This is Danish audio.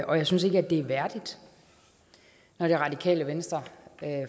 og jeg synes ikke det er værdigt når det radikale venstre